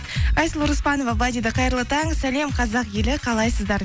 айсұлу рыспанова былай дейді қайырлы таң сәлем қазақ елі қалайсыздар